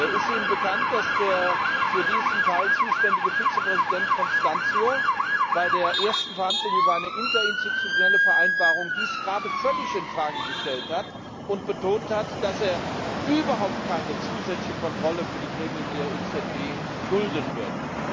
Ist Ihnen bekannt, dass der für diesen Teil zuständige Vizepräsident Constâncio bei der ersten Verhandlung über eine interinstitutionelle Vereinbarung gerade dies völlig in Frage gestellt und betont hat, dass er überhaupt keine zusätzliche Kontrolle für die Gremien der EZB dulden wird?